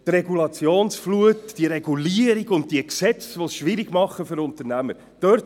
Die Regulationsflut, die Regulierung und die Gesetze, die es den Unternehmern schwer machen.